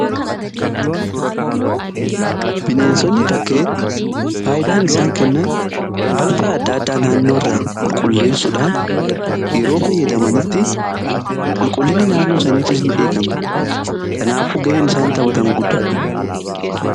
bineensonni bakkee faayidaan isaan kennan balfa adda addaa naannoo irra qulqulleessuudhaan yeroo fayyadamanitti qulqullinni naannoo isaniifis ni eegama. kanaafu ga'een isaan taphatan guddaa dha.